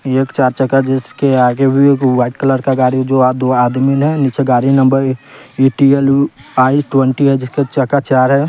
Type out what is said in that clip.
ये एक चार चक्का जिसके आगे भी एक व्हाइट कलर का गाड़ी है जो अह दो आदमी है नीचे गाड़ी नंबर आई ट्वेन्टी है जिसके चक्का चार है।